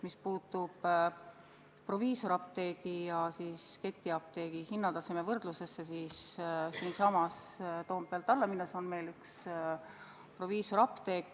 Mis puutub proviisoriapteegi ja ketiapteegi hinnataseme võrdlusesse, siis kui siit Toompealt alla minna, siis siinsamas on üks proviisoriapteek.